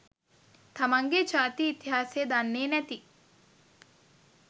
තමන්ගේ ජාතියේ ඉතිහාසය දන්නේ නැති